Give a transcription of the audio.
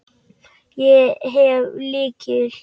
Ég hef lykil.